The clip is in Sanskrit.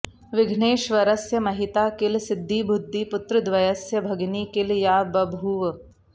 विघ्नेश्वरस्य महिता किल सिद्धिबुद्धि पुत्रद्वस्य भगिनी किल या बभूव